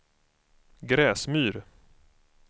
Gräsmyr